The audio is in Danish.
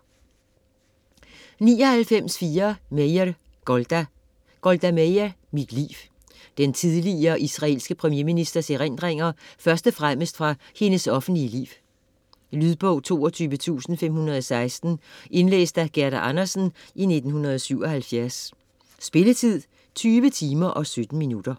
99.4 Meir, Golda Meir, Golda: Mit liv Den tidligere israelske premierministers erindringer først og fremmest fra hendes offentlige liv. Lydbog 22516 Indlæst af Gerda Andersen, 1977. Spilletid: 20 timer, 17 minutter.